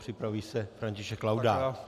Připraví se František Laudát.